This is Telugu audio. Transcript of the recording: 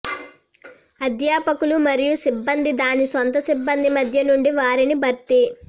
అధ్యాపకులు మరియు సిబ్బంది దాని సొంత సిబ్బంది మధ్య నుండి వారిని భర్తీ